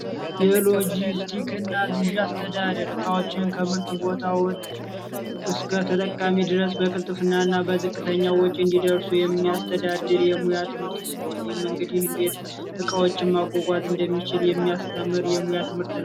የሎጅስቲክ እና ግዢ አስተዳደር እቃዎችን ከምርት ቦታዎች እስከ ተጠቃሚ ድረስ በቅልጥፍና እና በዝቅተኛ ወጪ እንዲደርሱ የሚያስተዳድር የሙያ ትምህርት ሲሆን ይህ እንግዲህ እንዴት እቃዎችን ማጓጓዣ እንደሚችል የሚያስተምር የሙያ ትምህርት ነው።